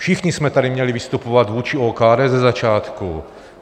Všichni jsme tady měli vystupovat vůči OKD ze začátku.